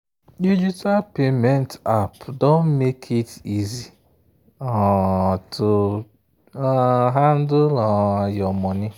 digital payment app don make it easy um to um handle um your money.